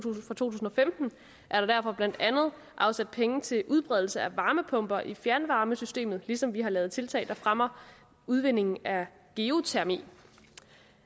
tusind og femten er der derfor blandt andet afsat penge til udbredelse af varmepumper i fjernvarmesystemet ligesom vi har lavet tiltag der fremmer udvindingen af geotermi